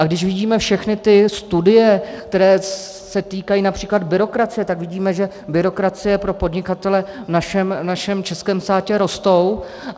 A když vidíme všechny ty studie, které se týkají například byrokracie, tak vidíme, že byrokracie pro podnikatele v našem českém státě roste.